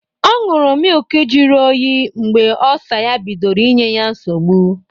Ọ ñyuru mịlki jiri oyii mgbe Ọlsa ya bidoro inye ya nsọgbu.